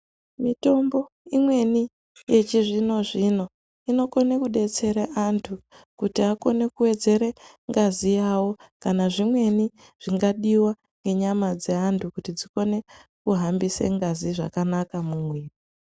Mitombo imweni yechizvino zvino inokone kudetsere antu kuti akone kuwedzere ngazi yawo kana zvimweni zvingadiwa ngenyama dzeantu kuti dzikone kuhambise ngazi zvakanaka mumuwiri.